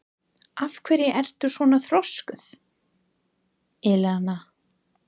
Af hverju ertu svona þrjóskur, Elíana?